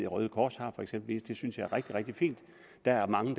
røde kors for eksempel det synes jeg er rigtig rigtig fint der er mange